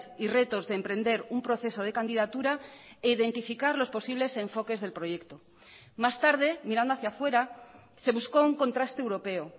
y retos de emprender un proceso de candidatura e identificar los posibles enfoques del proyecto más tarde mirando hacia fuera se buscó un contraste europeo